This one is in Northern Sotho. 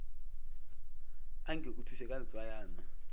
anke o thuše ka letswayana